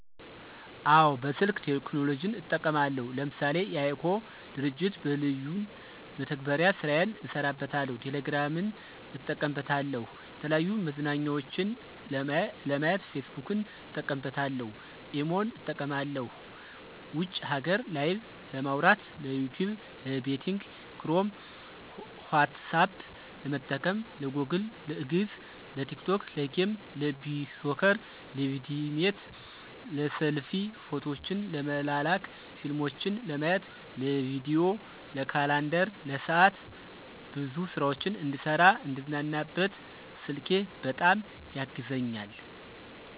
አወ በስልክ ቴክኖሎጅን እጠቀማለሁ ለምሳሌ:- የiCog ድርጅት በለዩን መተግበሪያ ስራየን እሰራበታለሁ፣ ቴሌግራምን እጠቀምበታለሁ፣ የተለያዩ መዝናኛዎችን ለማየት ፌስቡክን እጠቀምበታለሁ፣ ኢሞን እጠቀማለሁ ውጭ ሀገር ላይቨ ለማዉራት፣ ለዩቱብ፣ ለቤቲንግ ክሮም፣ ኋትሳፐ ለመጠቀም፣ ለጎግል፣ ለግዕዝ፣ ለቲክቶክ፣ ለጌም፣ ለቢሶከር፣ ለቪድሜት፣ ለሰልፊ፣ ፎቶዎችን ለመላላክ፣ ፊልሞችን ለማየት፣ ለቪዲዬ፣ ለካላንደር፣ ለሰዓት፣ ብዙ ስራዎች እንድሰራ፣ እንድዝናናበት ስልኬ በጣም ያግዘኛል።